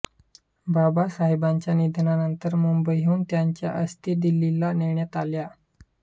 बाबासाहेबांच्या निधनानंतर मुंबईहून त्यांच्या अस्थी दिल्लीला नेण्यात आल्या